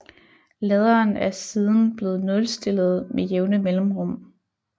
Ladderen er siden blevet nulstillet med jævne mellemrum